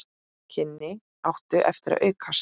Kynnin áttu eftir að aukast.